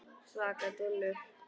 Svaka dúllur!